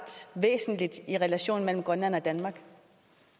væsentligt i relationen mellem grønland og danmark